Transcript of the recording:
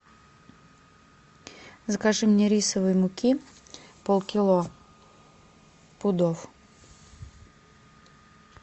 закажи мне рисовой муки полкило пудов